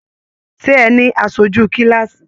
Ṣe ẹ ní aṣoju kilaasi?